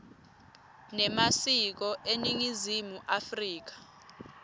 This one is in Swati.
nemasiko eningizimu afrika